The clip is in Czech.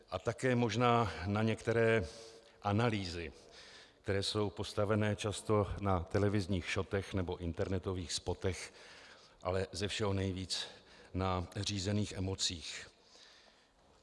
A také možná na některé analýzy, které jsou postavené často na televizních šotech nebo internetových spotech, ale ze všeho nejvíc na řízených emocích.